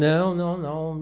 Não, não, não.